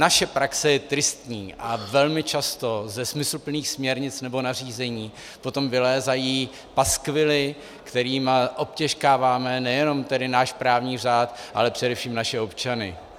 Naše praxe je tristní a velmi často ze smysluplných směrnic nebo nařízení potom vylézají paskvily, kterými obtěžkáváme nejenom tedy náš právní řád, ale především naše občany.